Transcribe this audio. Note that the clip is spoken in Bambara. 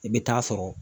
I bɛ taa sɔrɔ